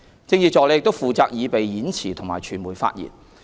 政治助理亦負責擬備演辭及傳媒發言。